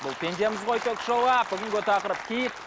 бұл пендеміз ғой ток шоуы бүгінгі тақырып киіт